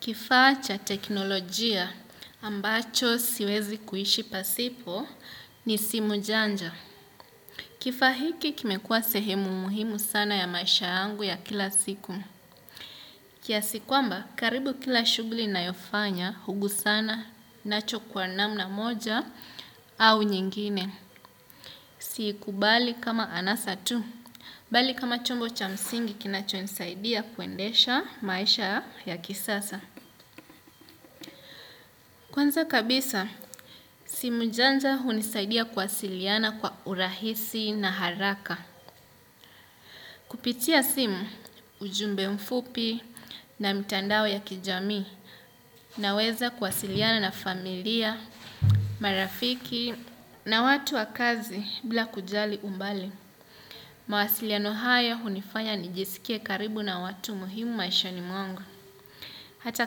Kifaa cha teknolojia ambacho siwezi kuishi pasipo ni simu janja. Kifaa hiki kimekuwa sehemu muhimu sana ya maisha yangu ya kila siku. Kiasi kwamba, karibu kila shughli ninayofanya, hugusana, nacho kwa namna moja, au nyingine. Siikubali kama anasa tu, bali kama chombo cha msingi kinacho nisaidia kuendesha maisha ya kisasa. Kwanza kabisa, simu janja hunisaidia kuwasiliana kwa urahisi na haraka. Kupitia simu, ujumbe mfupi na mtandao ya kijamii naweza kuwasiliana na familia, marafiki na watu wa kazi bila kujali umbali. Mawasiliano hayo hunifanya nijisikie karibu na watu muhimu maishani mwangu, hata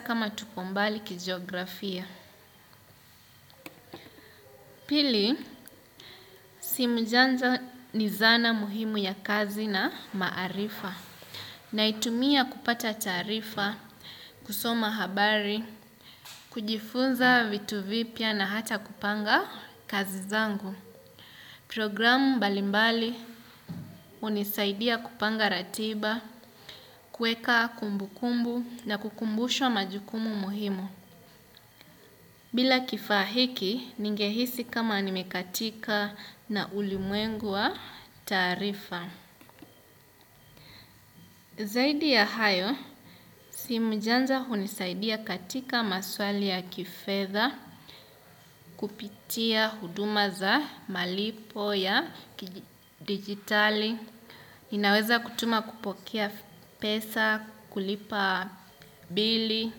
kama tuko mbali kijografia. Pili, simu janja ni zana muhimu ya kazi na maarifa naitumia kupata taarifa, kusoma habari, kujifunza vitu vipya na hata kupanga kazi zangu. Programu mbalimbali hunisaidia kupanga ratiba, kueka kumbukumbu na kukumbushwa majukumu muhimu. Bila kifaa hiki, ningehisi kama nimekatika na ulimwengu wa taarifa. Zaidi ya hayo, simu janja hunisaidia katika maswali ya kifedha, kupitia huduma za malipo ya dijitali, ninaweza kutuma kupokea pesa, kulipa bili,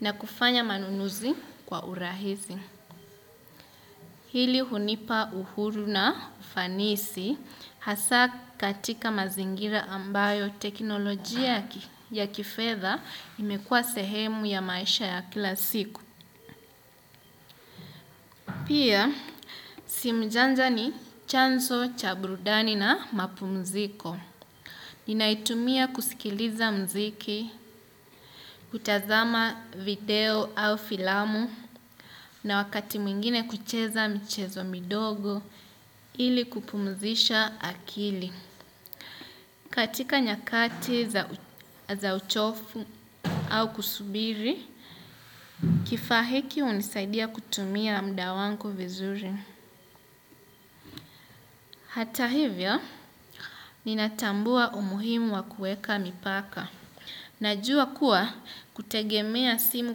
na kufanya manunuzi kwa urahisi. Hili hunipa uhuru na ufanisi hasa katika mazingira ambayo teknoloji ya kifedha imekua sehemu ya maisha ya kila siku. Pia, simu janja ni chanzo cha burudani na mapumziko. Ninaitumia kusikiliza mziki, kutazama video au filamu, na wakati mwingine kucheza michezo midogo ili kupumzisha akili. Katika nyakati za uchofu au kusubiri, kifaa hiki hunisaidia kutumia muda wangu vizuri. Hata hivyo, ninatambua umuhimu wa kueka mipaka. Najua kuwa kutegemea simu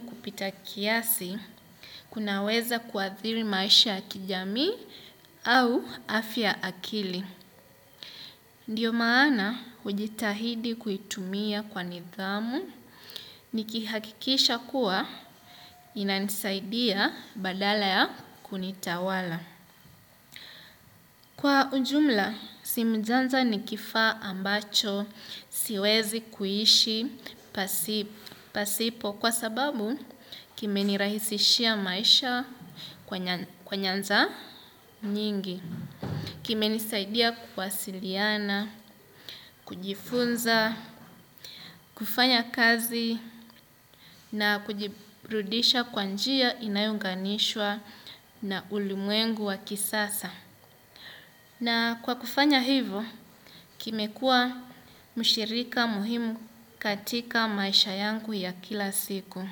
kupita kiasi, kunaweza kuadhiri maisha kijamii au afya akili. Ndiyo maana hujitahidi kuitumia kwa nidhamu, nikihakikisha kuwa inanisaidia badala ya kunitawala. Kwa ujumla, simu janja ni kifaa ambacho, siwezi kuishi, pasipo kwa sababu kimenirahisishia maisha kwa nyanza nyingi, kimenisaidia kuwasiliana, kujifunza, kufanya kazi na kujiburudisha kwa njia inayounganishwa na ulimwengu wa kisasa. Na kwa kufanya hivyo, kimekua mshirika muhimu katika maisha yangu ya kila siku.